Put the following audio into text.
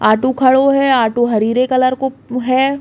ऑटो खड़ो है ऑटो हरीरे कलर को हैं।